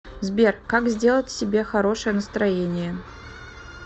сбер как сделать себе хорошее настроение